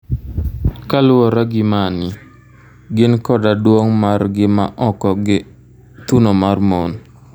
Kaluwore gi mani, gin koda duong' mar gi ma oko gi thuno mar mon.